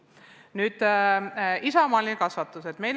Nüüd, isamaaline kasvatus.